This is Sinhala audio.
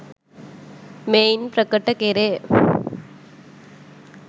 මෙයින් ප්‍රකට කෙරේ.